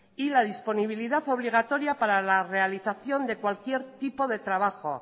y la disponibilidad obligatoria para la realización de cualquier tipo de trabajo